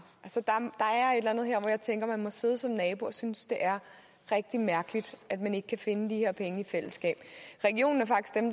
der jeg tænker at man må sidde som nabo og synes det er rigtig mærkeligt at man ikke kan finde de her penge i fællesskab regionen